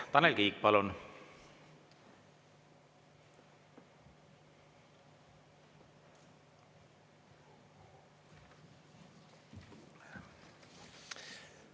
Tanel Kiik, palun!